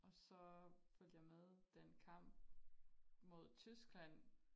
Og så fulgte jeg med den kamp mod Tyskland